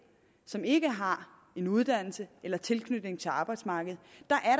som ikke har uddannelse eller tilknytning til arbejdsmarkedet